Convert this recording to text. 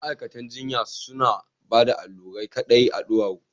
Ma’aikatan jinya suna bada allurai kaɗai a duwawu